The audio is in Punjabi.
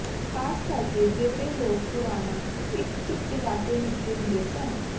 ਖ਼ਾਸ ਕਰਕੇ ਜਿਹੜੇ ਲੋਕ ਪੁਰਾਣਾ ਇੱਕ ਚੁੱਪ ਇਲਾਕੇ ਵਿੱਚ ਰਹਿੰਦੇ ਸਨ